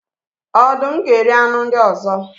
Ọdụm ga eri anụ ndị ọzọ.